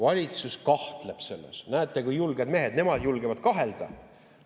Valitsus kahtleb selles – näete, kui julged mehed, nemad julgevad kahelda.